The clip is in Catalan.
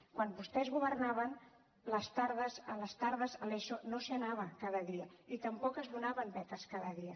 quan vostès governaven a les tardes a l’eso no s’hi anava cada dia i tampoc es donaven beques cada dia